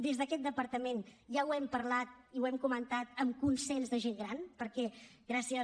des d’aquest departament ja ho hem parlat i ho hem comentat amb consens de gent gran perquè gràcies a